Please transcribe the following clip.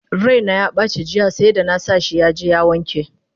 Raina yabaci jiya seda! nasa shi yaje yai wanka!